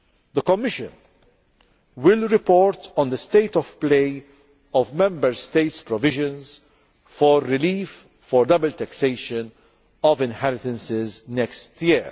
The Commission will report on the state of play of Member States' provisions for relief for double taxation of inheritances next year.